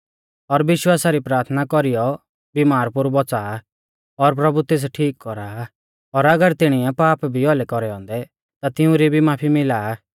और विश्वासा री प्राथना कौरीयौ बिमार पोरु बौच़ा आ और प्रभु तेस ठीक कौरा आ और अगर तिणीऐ पाप भी औलै कौरै औन्दै ता तिउंरी भी माफी मिला आ